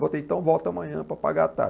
Voltei, então volto amanhã para pagar a taxa.